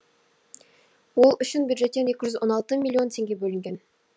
ол үшін бюджеттен екі жүз он алты миллион теңге бөлінген